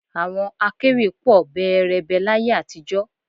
Àwọn akẹ́wì pọ̀ bẹẹrẹbẹ láyé àtijọ́